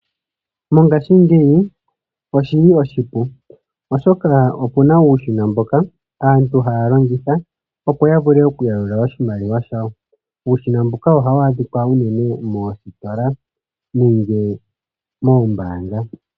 Mongashingeyi oshili oshipu oshoka okuna uushina mboka aantu hayalongitha opo yavule okuyalula oshimaliwa shawo. Uushina mbuka ohawu adhika uunene moositola nenge moombaanga.